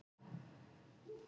Pabbi fyrir aftan hana: